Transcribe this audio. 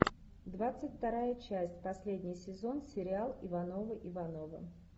двадцать вторая часть последний сезон сериал ивановы ивановы